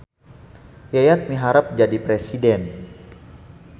Yayat miharep jadi presiden